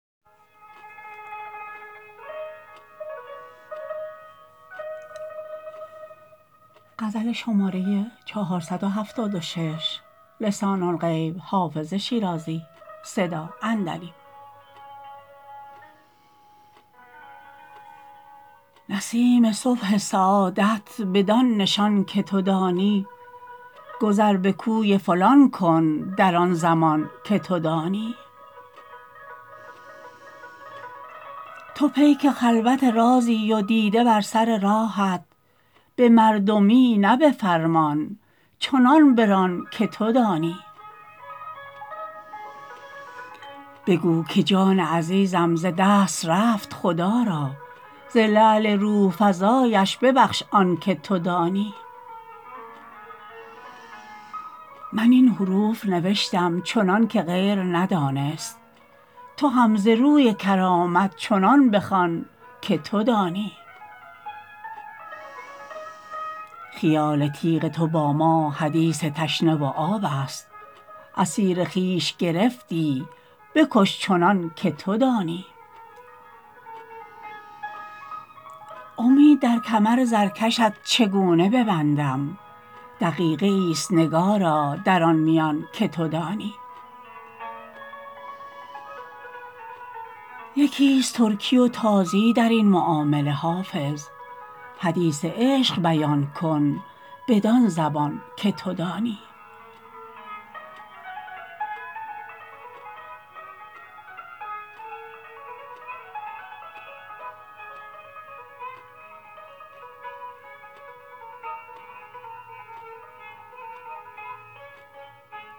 نسیم صبح سعادت بدان نشان که تو دانی گذر به کوی فلان کن در آن زمان که تو دانی تو پیک خلوت رازی و دیده بر سر راهت به مردمی نه به فرمان چنان بران که تو دانی بگو که جان عزیزم ز دست رفت خدا را ز لعل روح فزایش ببخش آن که تو دانی من این حروف نوشتم چنان که غیر ندانست تو هم ز روی کرامت چنان بخوان که تو دانی خیال تیغ تو با ما حدیث تشنه و آب است اسیر خویش گرفتی بکش چنان که تو دانی امید در کمر زرکشت چگونه ببندم دقیقه ای است نگارا در آن میان که تو دانی یکی است ترکی و تازی در این معامله حافظ حدیث عشق بیان کن بدان زبان که تو دانی